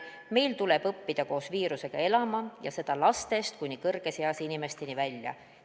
Meil tuleb õppida koos viirusega elama, lastest kuni kõrges eas inimesteni välja.